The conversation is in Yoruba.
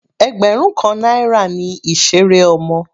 Ẹgbẹrun kan náírà ni ìseré ọmọ.